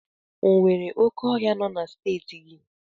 O nwere oké ọhịa nọ na Steeti gị?